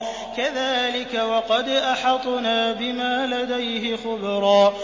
كَذَٰلِكَ وَقَدْ أَحَطْنَا بِمَا لَدَيْهِ خُبْرًا